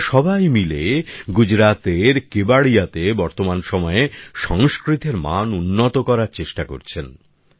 এঁরা সবাই মিলে গুজরাতের কেবাড়িয়াতে বর্তমান সময়ে সংস্কৃতের মান উন্নত করার চেষ্টা করছেন